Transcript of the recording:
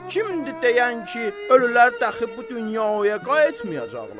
Kimdir deyən ki, ölülər dəxi bu dünyaya qayıtmayacaqlar?